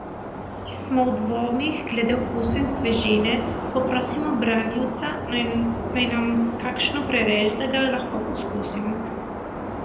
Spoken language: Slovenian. Če smo v dvomih glede okusa in svežine, poprosimo branjevca, naj nam kakšno prereže, da ga lahko poskusimo.